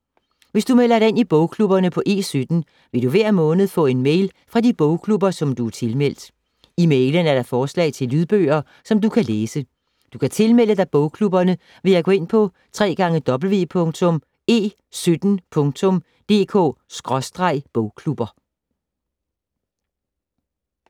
Hvis du melder dig ind i bogklubberne på E17, vil du hver måned få en mail fra de bogklubber, som du er tilmeldt. I mailen er der forslag til lydbøger, som du kan læse. Du kan tilmelde dig bogklubberne ved at gå ind på www.e17.dk/bogklubber.